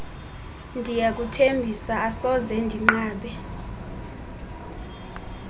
ndiyakuthembisa asoze ndinqabe